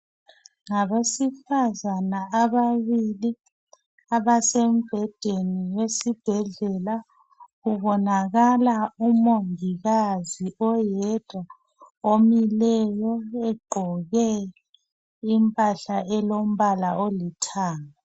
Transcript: Ngabesifazana ababili abasembhedeni esibhedlela. Kubonakala umongikazi oyedwa omileyo ogqoke impahla elombala olithanga